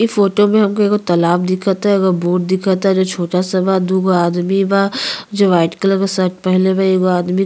ई फोटो में हमका तालाब दिखता एगो बोट दिखता जो छोटा-सा बा। दुगो आदमी बा जो व्हाइट कलर के शर्ट पहिनले बा। एगो आदमी --